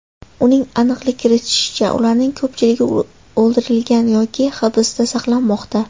Uning aniqlik kiritishicha, ularning ko‘pchiligi o‘ldirilgan yoki hibsda saqlanmoqda.